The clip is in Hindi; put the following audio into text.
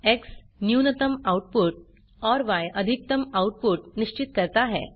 एक्स न्यूनतम आउटपुट और य अधिकतम आउटपुट निश्चित करता है